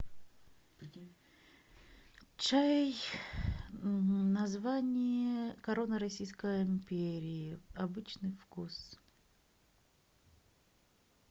чай название корона российской империи обычный вкус